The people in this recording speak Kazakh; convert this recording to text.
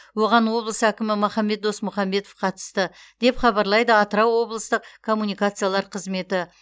оған облыс әкімі махамбет досмұхамбетов қатысты деп хабарлайды атырау облыстық коммуникациялар қызметі